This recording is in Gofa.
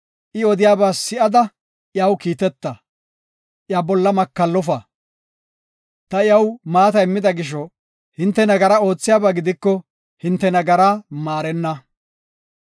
I odiyaba si7ada iyaw kiiteta; iya bolla Makallofa. Ta iyaw maata immida gisho, hinte nagara oothiyaba gidiko, hinte nagaraa maarenna.